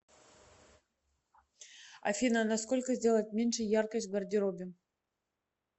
афина на сколько сделать меньше яркость в гардеробе